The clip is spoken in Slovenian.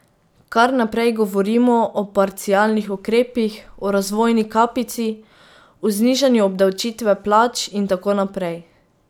Kar naprej govorimo o parcialnih ukrepih, o razvojni kapici, o znižanju obdavčitve plač in tako naprej.